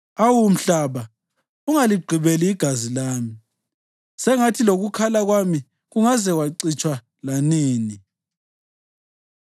Awu mhlaba, ungaligqibeli igazi lami; sengathi lokukhala kwami kungaze kwacitshwa lanini!